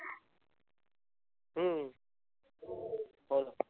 हम्म हो ना.